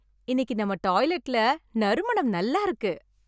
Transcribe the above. இன்னைக்கு நம்ம டாய்லெட்ல நறுமணம் நல்லா இருக்கு.